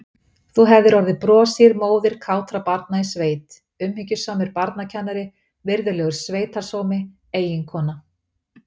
Þú hefðir orðið broshýr móðir kátra barna í sveit, umhyggjusamur barnakennari, virðulegur sveitarsómi, eiginkona.